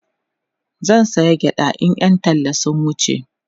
zan saya gyaɗa in Yan talla sun wuce